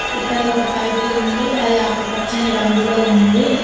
ఇక్కడ ఒక పైపు ఉంది అది ఆకుపచ్చని రంగులో ఉంది.